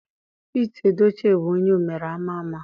Pete Edochie bụ onye omere ama ama.